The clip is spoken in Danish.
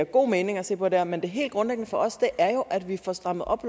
god mening at se på det her men det helt grundlæggende for os er jo at vi får strammet op